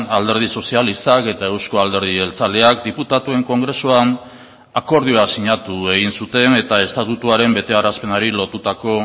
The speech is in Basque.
alderdi sozialistak eta euzko alderdi jeltzaleak diputatuen kongresuan akordioa sinatu egin zuten eta estatutuaren betearazpenari lotutako